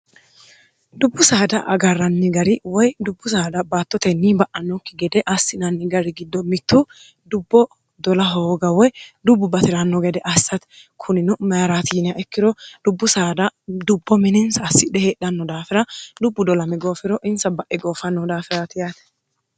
dubbu saada agarranni gari woy dubbu saada baattotenni ba'anokki gede assinanni gari giddo mittu dubbo dola hooga woy dubbu bati'ranno gede assati kunino mayiratiiniya ikkiro dubbu saada dubbo mininsa assidhe heedhanno daafira lubbu dolmi goofiro insa ba'e goofannoh daafiraati yaate